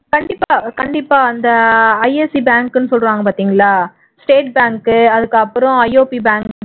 கண்டிப்பா கண்டிப்பா அந்த ISC bank ன்னு சொல்றாங்க பாத்தீங்களா state bank அதுக்கு அப்புறம் IOB bank